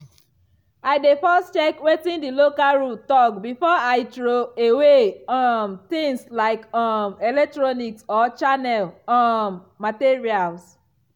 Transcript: i dey first check wetin the local rule talk before i throw away um things like um electronics or chemical um materials.